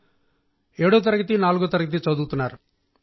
ఒకరు 7వ తరగతి ఒకరు 4వ తరగతి చదువుతున్నారు